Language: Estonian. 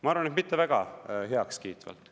Ma arvan, et mitte väga heakskiitvalt.